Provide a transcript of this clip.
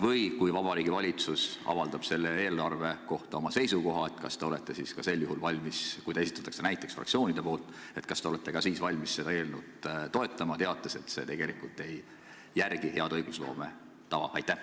Või kui Vabariigi Valitsus avaldab selle eelnõu kohta oma seisukoha, kas te olete ka sel juhul, kui eelnõu on esitanud mõni fraktsioon, nõus seda toetama, teades, et see tegelikult ei järgi head õigusloome tava?